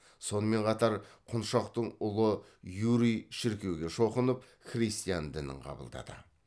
сонымен қатар құншақтың ұлы юрий шіркеуге шоқынып христиан дінін қабылдады